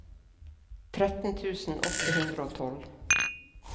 tretten tusen åtte hundre og tolv